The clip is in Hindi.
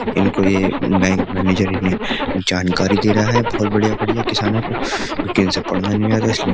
इनको ये बैंक मैनेजर जानकारी दे रहा है बहुत बढ़िया-बढ़िया किसानों को क्योंकि इनसे पढ़ना नहीं आ रहा इसलिए --